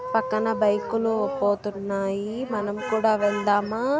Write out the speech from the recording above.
పక్కన బైకులు పోతున్నాయి.మనం కూడా వెళ్దామా.